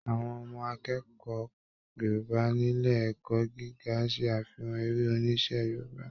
Àwọn ọmọ akẹ́ẹ̀kọ́ Yorùbá nílé ẹ̀kọ́ gíga n ṣe afihan eré oníṣe Yorùbá.